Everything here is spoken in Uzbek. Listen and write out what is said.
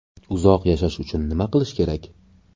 Uzoq yashash uchun nima qilish kerak?.